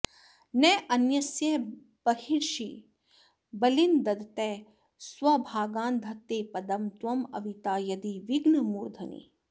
न अन्यस्य बर्हिषि बलीन् ददतः स्वभागान् धत्ते पदं त्वम् अविता यदि विघ्नमूर्ध्नि